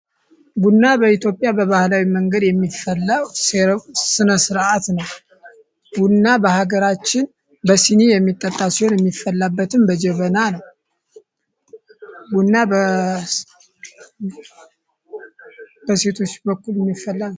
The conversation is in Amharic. ቡና በኢትዮጵያ በባህላዊ መንገድ የሚፈላው ስነ ስርዓት ነው። ቡና በሀገራችን በስኒ የሚጠጣ ሲሆን የሚፈላበትም በጀመና ነው። ቡና በሴቶች በኩል የሚፈላ ነው።